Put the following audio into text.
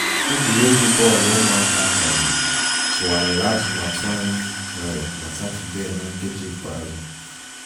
egwuregwu bọl ụmụaka akagburu tụwarịrị atụmatụ anyị nwere na satọde na nkeji ịkpeazụ.